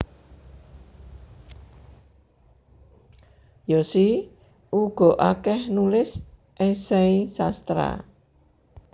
Yosi uga akeh nulis esei sastra